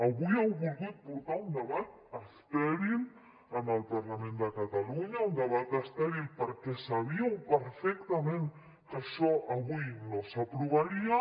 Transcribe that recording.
avui heu volgut portar un debat estèril al parlament de catalunya un debat estèril perquè sabíeu perfectament que això avui no s’aprovaria